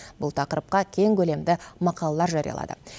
бұл тақырыпқа кең көлемді мақалалар жариялады